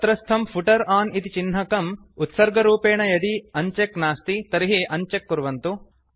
तत्रस्थं footer on इति चिह्नकं उत्सर्गरूपेण यदि अन्चेक् नास्ति तर्हि अन्चेक् कुर्वन्तु